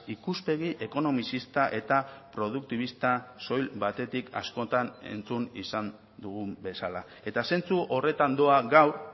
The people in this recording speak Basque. ikuspegi ekonomizista eta produktibista soil batetik askotan entzun izan dugun bezala eta zentzu horretan doa gaur